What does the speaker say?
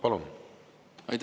Palun!